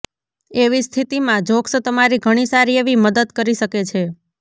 એવી સ્થિતિ માં જોક્સ તમારી ઘણી સારી એવી મદદ કરી શકે છે